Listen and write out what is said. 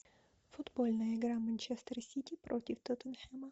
футбольная игра манчестер сити против тоттенхема